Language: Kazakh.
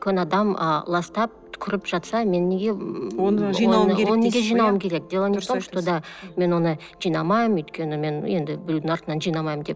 үлкен адам ы ластап түкіріп жатса мен неге оны жинауым керек дело не в том что да мен оны жинамаймын өйткені мен енді біреудің артынан жинамаймын деп